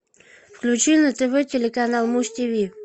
включи на тв телеканал муз тв